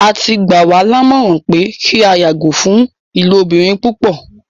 Á ti gbà wa làmọ̀ran pẹ kí a yàgọ̀ fún ilòbìrín púpọ̀.